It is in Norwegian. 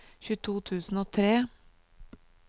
tjueto tusen og tre